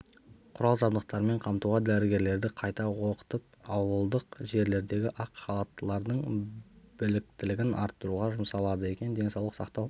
құрал-жабдықтармен қамтуға дәрігерлерді қайта оқытып ауылдық жерлердегі ақ халаттылардың біліктілігін арттыруға жұмсалады екен денсаулық сақтау